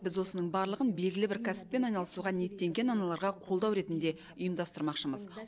біз осының барлығын белгілі бір кәсіппен айналысуға ниеттенген аналарға қолдау ретінде ұйымдастырмақшымыз